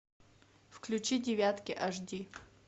включи девятки аш ди